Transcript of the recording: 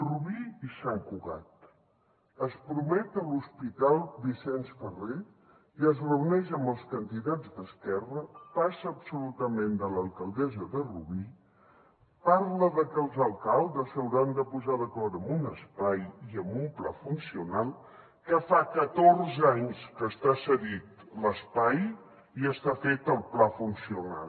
rubí i sant cugat es promet l’hospital vicenç ferrer i es reuneix amb els candidats d’esquerra passa absolutament de l’alcaldessa de rubí parla de que els alcaldes s’hauran de posar d’acord amb un espai i amb un pla funcional que fa catorze anys que està cedit l’espai i ja està fet el pla funcional